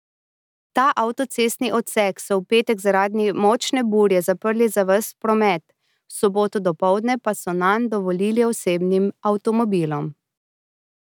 Ta avtocestni odsek so v petek zaradi močne burje zaprli za ves promet, v soboto dopoldne pa so nanj dovolili osebnim avtomobilom.